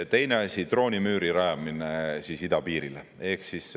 Teine asi, droonimüüri rajamine idapiirile.